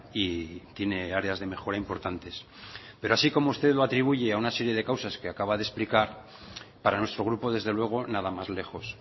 y tiene áreas de mejora importantes pero así como usted lo atribuye a una serie de causas que acaba de explicar para nuestro grupo desde luego nada más lejos